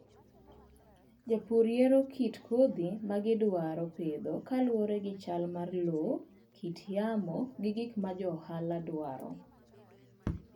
Jopur yiero kit kodhi ma gidwaro pidho kaluwore gi chal mar lowo, kit yamo, kod gik ma johala dwaro.